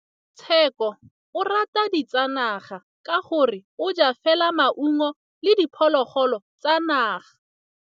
Tshekô o rata ditsanaga ka gore o ja fela maungo le diphologolo tsa naga.